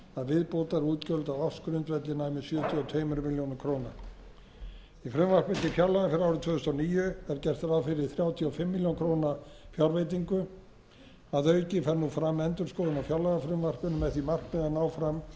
viðbótarútgjöld á ársgrundvelli næmi sjötíu og tvær milljónir króna í frumvarpi til fjárlaga fyrir árið tvö þúsund og níu er gert ráð fyrir þrjátíu og fimm milljónir króna fjárveitingu að auki fer nú fram endurskoðun á fjárlagafrumvarpinu með því markmiði að ná fram sparnaði á útgjöldum